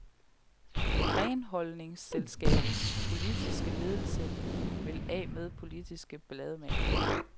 Renholdningsselskabets politiske ledelse vil af med politiske ballademagere.